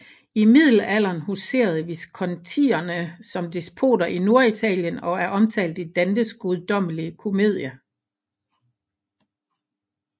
I middelalderen huserede Viscontierne som despoter i Norditalien og er omtalt i Dantes Guddommelige Komedie